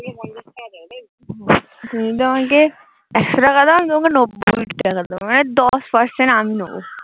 তুমি যদি আমাকে একশো টাকা দাও তাহলে আমি তোমাকে নব্বই টাকা দেব মানে দশ percent আমি নেবো